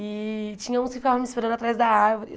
E tinha uns que ficavam me esperando atrás da árvore.